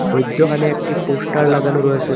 মইদ্যখানে একটি পোস্টার লাগানো রয়েসে।